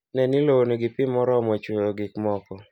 Ne ni lowo nigi pi moromo chwoyo gik moko